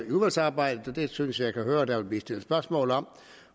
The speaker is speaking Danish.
i udvalgsarbejdet og det synes jeg jeg kan høre der vil blive stillet spørgsmål om